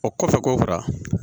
O kɔfɛ k'o fara